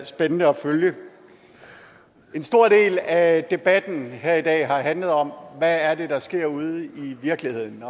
spændende at følge en stor del af debatten her i dag har handlet om hvad er det der sker ude i virkeligheden